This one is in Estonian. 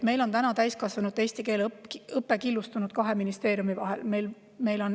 Meil on täna täiskasvanute eesti keele õpe killustunud kahe ministeeriumi vahel.